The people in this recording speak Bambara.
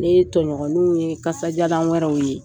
N'e tɔɲɔgɔninw ye kasajalan wɛrɛw ye.